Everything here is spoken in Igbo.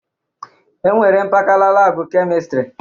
E nwere mpakala labụ Kemịstrị.